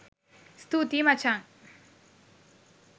ස්තුතියි මචන්